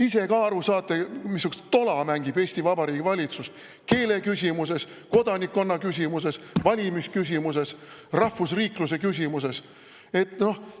Ise ka aru saate, missugust tola mängib Eesti Vabariigi valitsus keeleküsimuses, kodanikkonna küsimuses, valimisküsimuses, rahvusriikluse küsimuses?